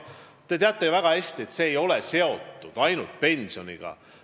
Te teate ju väga hästi, et see ei ole ainult pensioniga seotud.